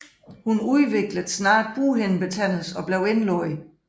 Hun udviklede snart bughindebetændelse og blev indlagt